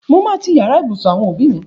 Mo máa ti yàrá ìbùsùn àwọn òbí mi.